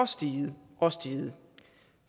steget og steget